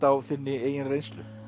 á þinni eigin reynslu